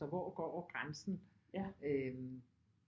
Så hvor går grænsen øh